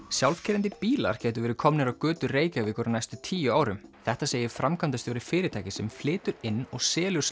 sjálfkeyrandi bílar gætu verið komnir á götur Reykjavíkur á næstu tíu árum þetta segir framkvæmdastjóri fyrirtækis sem flytur inn og selur